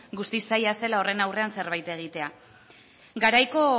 guztiz zaila zela horren aurrean zerbait egitea garaiko